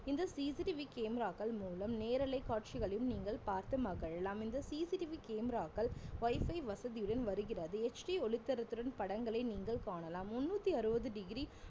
இந்த CCTV camera க்கள் மூலம் நேரலை காட்சிகளையும் நீங்கள் பார்த்து மகிழலாம் இந்த CCTV camera க்கள் wifi வசதியுடன் வருகிறது HD ஒளி தரத்துடன் படங்களை நீங்கள் காணலாம் முணூத்தி அறுவது degree